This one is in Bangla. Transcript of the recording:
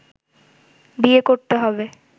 বিয়ে করতে হবে